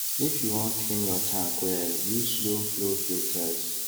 if you wan clean your tank welluse slowflow filters